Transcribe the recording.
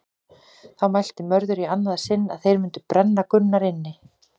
Þá mælti Mörður í annað sinn að þeir mundu brenna Gunnar inni.